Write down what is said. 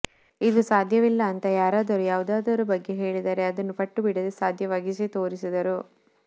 ಇದು ಸಾಧ್ಯವಿಲ್ಲ ಅಂತ ಯಾರಾದರೂ ಯಾವುದರ ಬಗ್ಗೆಯಾದರೂ ಹೇಳಿದರೆ ಅದನ್ನು ಪಟ್ಟು ಬಿಡದೆ ಸಾಧ್ಯವಾಗಿಸಿ ತೋರಿಸಿದರು